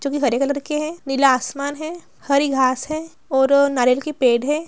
जो की हरे कलर के है नीला आसमान है हरी घास है और अ नारियल के पेड़ है।